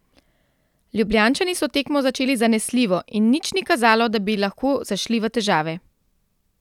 Ljubljančani so tekmo začeli zanesljivo in nič ni kazalo, da bi lahko zašli v težave.